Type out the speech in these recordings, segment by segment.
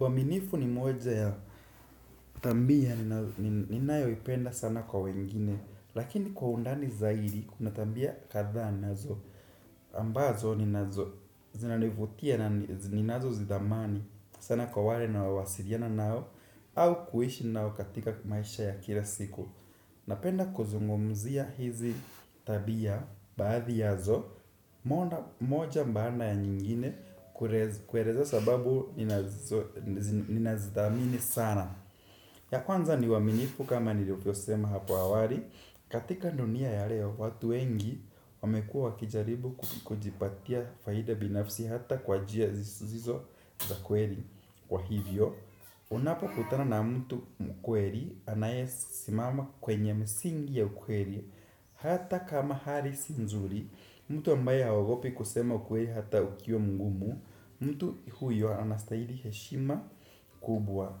Uaminifu ni mmoja ya thambia, ninao nin ninayoipenda sana kwa wengine. Lakini kwa undani zaidi, kuna thambia kadhaa nazo ambazo, ninazo zinanivutia nani z ninazo zidhamani sana kwa wale naowasiliana nao, au kuhishi nao katika maisha ya kila siku. Napenda kuzungumzia hizi tabia, baadhi yazo, monda moja mbaanda ya nyingine, kurez kuereza sababu ninazo nz ninazidhamini sana. Ya kwanza ni uaminifu kama nilivyosema hapo awari, katika ndunia ya leo, watu wengi wamekua wakijaribu ku kukujipatia faida binafsi hata kwa jia zisizizo, za kweri. Kwa hivyo, unapo kutana na mtu mkweri anaye simama kwenye msingi ya ukweri, hata kama hari si nzuri, mtu ambaye haogopi kusema ukweli hata ukiwa mgumu, mtu huyo anastahili heshima kubwa.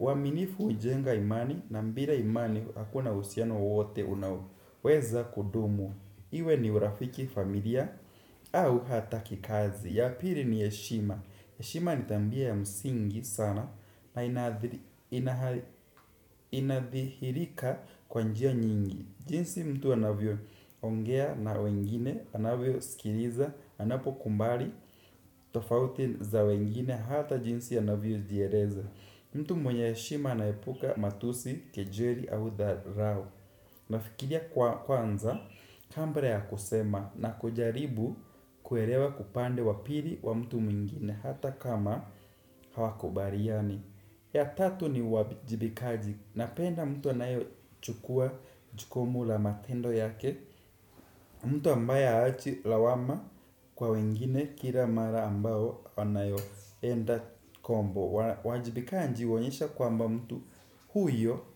Uaminifu hujenga imani, na mbira imani hakuna usiano wote unao weza kudumu. Iwe ni urafiki familia, au hata kikazi. Ya piri ni heshima. Heshima ni thambia ya msingi sana, na inaadhir inaha inadhihirika kwa njia nyingi. Jinsi mtu anavyo ongea na wengine, anavyosikiriza, anapo kumbari, tofauti za wengine, hata jinsi anavyojiereza. Mtu mwenye heshima anaepuka matusi, kejeli, au dharau. Nafikiria kwa kwanza, kambra ya kusema, na kujaribu kuerewa kupande wa piri wa mtu mwingine, hata kama hawakubariani. Ya tatu ni wabi jibikaji, napenda mtu anayochukua jukumu la matendo yake mtu ambaye haachi lawama, kwa wengine, kila mara ambao anayo enda kombo wana wajibikaji uonyesha kwamba mtu huyo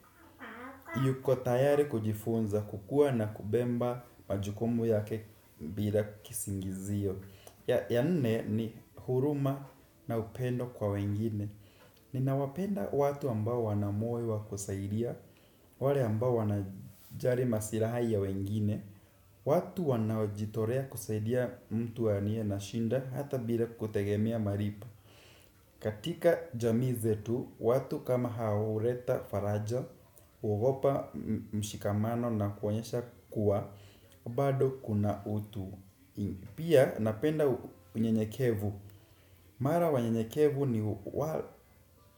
yuko tayari kujifunza kukua na kubemba majukumu yake bila kisingizio. Ya ya nne ni huruma na upendo kwa wengine. Ninawapenda watu ambao wana moyo wa kusaidia, wale ambao wana jari masirahi ya wengine. Watu wanaojitorea kusaidia mtu waniye na shinda, hata bira kutegemea maripo. Katika jamii zetu, watu kama hao hureta faraja, huogopa m mshikamano na kuonyesha kuwa, bado kuna utu i. Pia, napenda u unyenyekevu. Mara wanyenyekevu ni w wa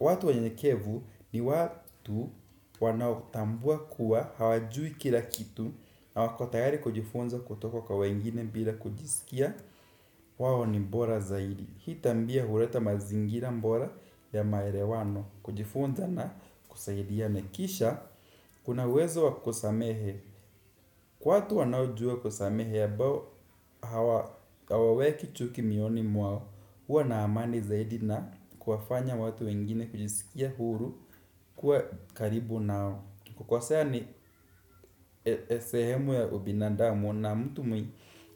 watu wanyenyekevu ni wa tu wanaotambua kuwa, hawajui kila kithu, na wakotayari kujifunza kutoko kwa wengine bila kujisikia wawo ni mbora zaidi. Hii tambia hureta mazingira mbora, ya maerewano, kujifunza na kusaidiaene. Kisha, kuna uwezo wa kusamehe. Kwathu wanaojua kusamehe abao hawa hawaweki chuki mioni mwao. Huwa na amani zaidi na kuwafanya watu wengine kujisikia huru kuwa karibu nao. Kwa sea ni e esehemu ya ubinadamu na mtu mwi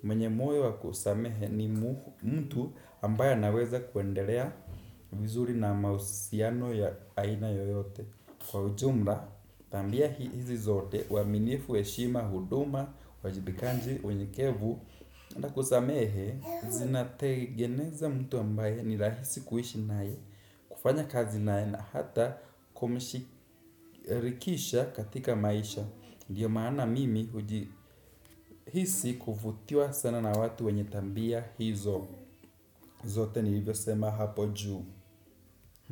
mwenye moyo wa kusamehe, ni mu mtu ambaye anaweza kuenderea vizuri na mausiano ya aina yoyote. Kwa ujumla, tambia hi hizi zote, uaminifu, heshima, huduma, uwajibikanji, wenyekevu na kusamehe, zinategeneza mtu ambaye ni rahisi kuishi nae. Kufanya kazi nae na hata kumishi e rikisha katika maisha. Ndiyo maana mimi huji hisi kuvutiwa sana na watu wenye tambia hizo. Zote ni ivyo sema hapo juu.